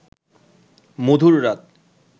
মধুর রাত